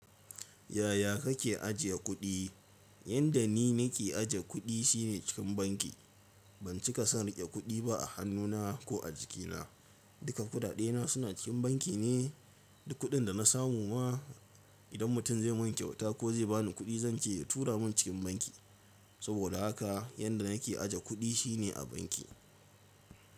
Yaya kake ajiye kuɗi? Yanda ni nake aje kuɗi shine cikin banki. Ban cika son riƙe kuɗi ba a hannuna ko a jikina. Duka kuɗaɗe na suna cikin banki ne. Duk kuɗin da na samu ma idan mutum zai mun kyauta ko zai bani kuɗi, zan ce tura mun cikin banki. Saboda haka yanda nake aje kuɗi shine a banki.